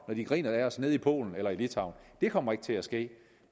når de griner af os nede i polen eller litauen det kommer ikke til at ske